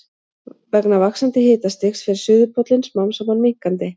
Vegna vaxandi hitastigs fer suðurpóllinn smám saman minnkandi.